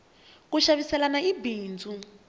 ku xaviselana i bindzu